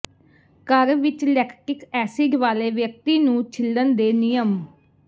ਘਰ ਵਿੱਚ lactic acid ਵਾਲੇ ਵਿਅਕਤੀ ਨੂੰ ਛਿੱਲਣ ਦੇ ਨਿਯਮ